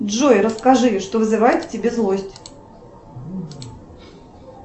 джой расскажи что вызывает в тебе злость